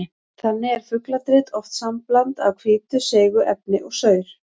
Þannig er fugladrit oft sambland af hvítu seigu efni og saur.